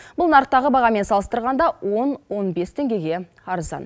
бұл нарықтағы бағамен салыстырғанда он он бес теңгеге арзан